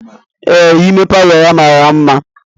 Ee ime Palọ ya mara mma.